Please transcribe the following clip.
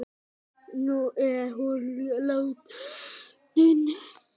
Nú er hún látin.